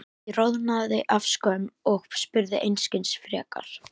Ég roðnaði af skömm og spurði einskis frekar.